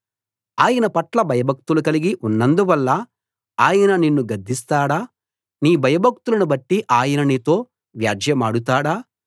ఆయన పట్ల భయభక్తులు కలిగి ఉన్నందువల్ల ఆయన నిన్ను గద్దిస్తాడా నీ భయభక్తులను బట్టి ఆయన నీతో వ్యాజ్యెమాడుతాడా